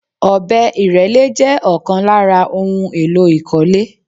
Ọ̀bẹ ìrẹ́lé jẹ́ ọ̀kan lára ohun èlò ìkọ́lé